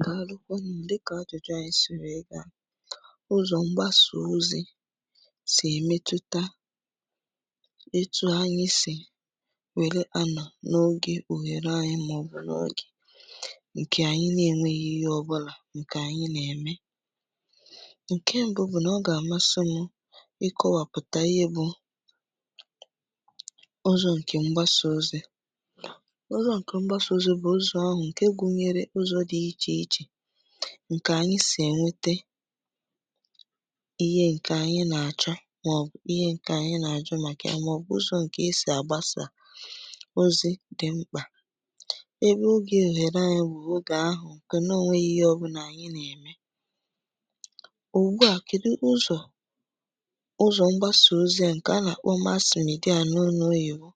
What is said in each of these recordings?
Dàlukwà nu, dika ajụjụ anyị sì wee gà, ụzọ̇ mgbasa ozi̇ sì èmetụta etu anyị sì wèle anà n’ogè òhèrè anyị màọbụ̀ n’ogè ǹkè ànyị nà-ènwèghì ihe ọbụlà, ǹkè ànyị nà-ème, ǹkè mbu bụ̀ nà, ọ gà-àmasị mụ̇ ịkọwàpụ̀tà ihe bụ̀ ụzọ̇ ǹkè mgbasò ozi̇, ụzọ̇ ǹkè mgbasò ozi̇ bụ̀ ụzọ̇ ahụ̇ ǹkè gùnyere ụzọ̇ dị iche iche, ǹkè anyị sì ènwète? ihe ǹkè anyị nà-àchọ, màọbụ̀ ihe ǹkè anyị nà-àchọ màkà ya, màọbụ̀ ụzọ̀ ǹkè esì àgbasa ozi̇ dị mkpà, ebe ogè òhèrè anya bụ̀ ogè ahụ̄ ǹkè nà ònwèlò ihe ọbụnà anyị nà-ème ùgbùà, kèdụ ụzọ̀, ụzọ̀ mgbasì ozi̇ à ǹkè a nà-àkpọ mass media n’ọnụ oyìbo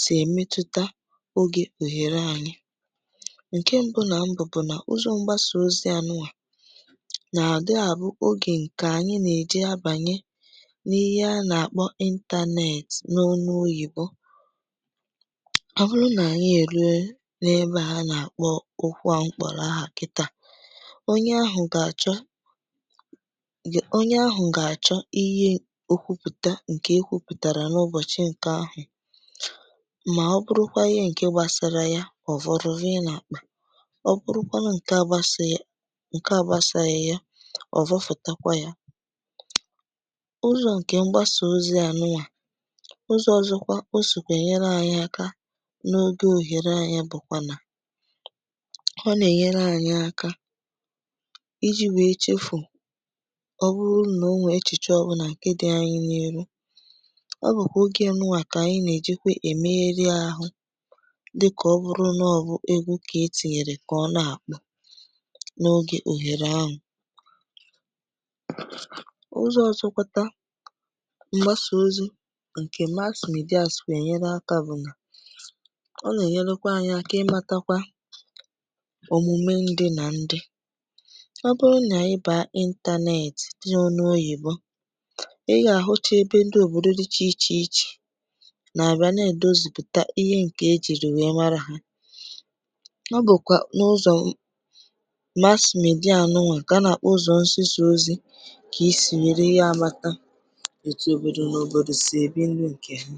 sì èmetụta ogè òhèrè anyị, ǹkè mbu nà mbu bụ̀ nà, ụzọ̇ mgbasa ozi̇ anùà nà-àdị ȧ bụ̀ ogè ǹkè ànyị nè-èjì abànye n’ihe a nà-àkpọ internet n’ọnụ oyìbo ọ bụrụ nà anyị erùo n’ebe a nà-àkpọ òkwù à mkpòrọ̀ àhà kìtà, onye ahụ̄ gà-àchọ, onye gà-àchọ ihe òkwù pụta ǹkè e kwùpùtàrà n’ụbọchi ǹkè ahụ̄, mà ọ bụrụkwà ihe ǹkè gbàsàrà ya, ọ vòlù vòyè n’àkpà, ọ bụrụkwà ǹkè àgbàsàghì, ǹkè àgbàsàghì ya, òvòvùtàkwà ya. Ụzọ̇ ǹkè mgbasà ozi̇ à nụà, ụzọ̇ ọzọ̇kwà ọ sìkwà ènyere anyị̇ àkà n’ogè òhèrè anyị̇ yà bụ̀kwà nà, ọ nà-ènyere anyị̇ àkà iji̇ wèe chèfù ọ bụrụ nà ò nwèè echìchì ọbụ̀nà ǹkè dị̇ anyị̇ n’íhù, ọ bụ̀kwà ogè ǹnụwà kà anyị̇ nà-èjikwa è mee rị̇ ahụ̇, díkà ọ bụrụ nà ọ̀ bụ̀ egwú kà e tìnyèrè kà ọ nà-àkpo n’ogè òhèrè ahụ̄. Ụzọ̇ ọzọ̇kwàtà mgbasà ozi̇ ǹkè mass media sìkwà ènyere ànyị àkà bụ̀ nà ọ nà-ènyèlùkwà ànyị àkà ịmàtàkwà òmùmè ndị nà ndị, ọ bụrụ nà ị bà n’ọnụ oyìbo, ị gà-àhụ̀chá ebe ndị òbòdò dịchà iche iche nà-àbịa nà-èdozìpùtà ihe ǹkè e jìrì wèe màrà hȧ, nọ bụ̀kwà n’ụzọ̀ mass media ànụ̀nwà gà-àkpọ ụzọ̄ nsịsà ozi̇, ka ìsì mèré ya àmàtà etu òbòdò n’òbòdò sì èbí ndụ ǹkè hà.